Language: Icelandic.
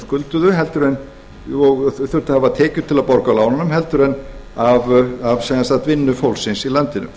skulduðu og þurftu að hafa tekjur til að borga af lánunum heldur en af vinnu fólksins í landinu